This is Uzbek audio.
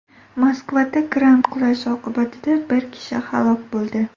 Moskvada kran qulashi oqibatida bir kishi halok bo‘ldi.